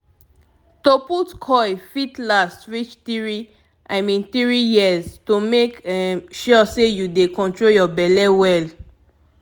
to put coil fit last reach three i mean — three yrs to make um sure say you dey control your belle well.